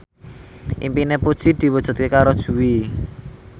impine Puji diwujudke karo Jui